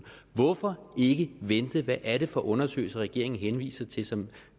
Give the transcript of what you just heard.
hvorfor ikke vente hvad er det for undersøgelser regeringen henviser til som